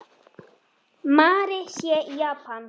Mary sé í Japan.